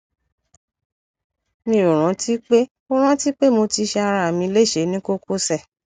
mi ò rántí pé ò rántí pé mo ti ṣe ara mi léṣe ní kókósẹ